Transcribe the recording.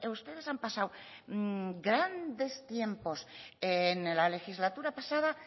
ustedes han pasado grandes tiempos en la legislatura pasada